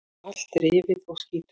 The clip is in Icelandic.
Allt rifið og skítugt.